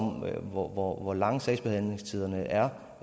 hvor hvor lange sagsbehandlingstiderne er